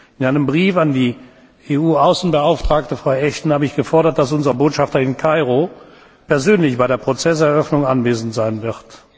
In einem Brief an die EU Außenbeauftragte, Frau Ashton, habe ich gefordert, dass unser Botschafter in Kairo persönlich bei der Prozesseröffnung anwesend sein